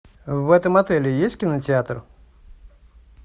в этом отеле есть кинотеатр